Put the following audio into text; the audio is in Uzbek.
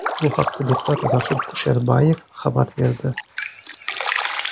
Bu haqda deputat Rasul Kusherbayev xabar berdi .